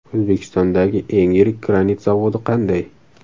O‘zbekistondagi eng yirik granit zavodi qanday?.